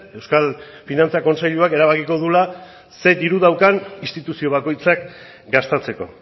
euskal finantza kontseiluak erabakiko duela zer diru daukan instituzio bakoitzak gastatzeko